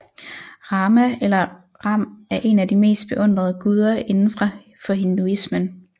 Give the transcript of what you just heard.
Rama eller Ram er en af de mest beundrede guder inden for hinduismen